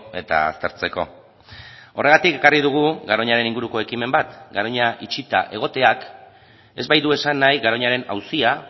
eta aztertzeko horregatik ekarri dugu garoñaren inguruko ekimen bat garoña itxita egoteak ez baitu esan nahi garoñaren auzia